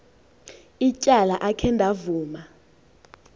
ityala akhe ndavuma